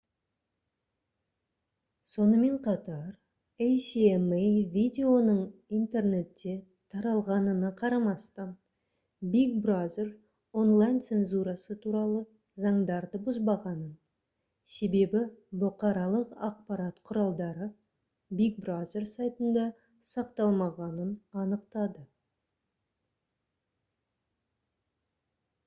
сонымен қатар асма видеоның интернетте таратылғанына қарамастан big brother онлайн-цензурасы туралы заңдарды бұзбағанын себебі бұқаралық ақпарат құралдары big brother сайтында сақталмағанын анықтады